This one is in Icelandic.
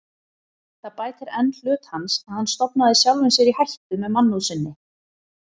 Það bætir enn hlut hans, að hann stofnaði sjálfum sér í hættu með mannúð sinni.